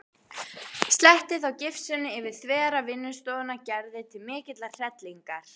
Sletti þá gifsinu yfir þvera vinnustofuna Gerði til mikillar hrellingar.